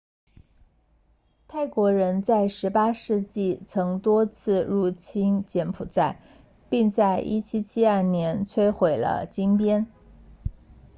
泰国人在18世纪曾多次入侵柬埔寨并在1772年摧毁了金边